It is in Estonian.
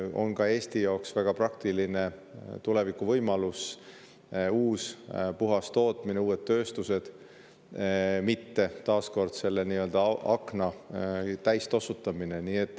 See on ka Eesti jaoks väga praktiline tulevikuvõimalus: uus puhas tootmine, uued tööstused, mitte taas kord selle nii-öelda akna täis tossutamine.